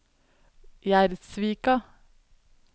Gjerdsvika